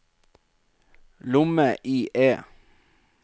lomme-IE